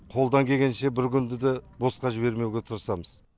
қолдан келгенше бір күнді де босқа жібермеуге тырысамыз